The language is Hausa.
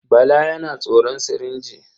Bala yana tsoron sirinji.